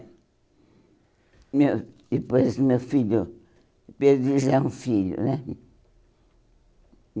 Meu Depois do meu filho... perdi já um filho, né?